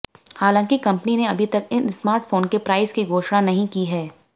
हालांकि कपंनी ने अभी तक इन स्मार्टफोन के प्राइस की घोषणा नहीं की है